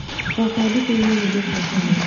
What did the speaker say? Baba athikĩrĩirie nyĩmbo cia tene.